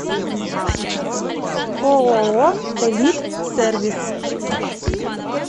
ооо элит сервис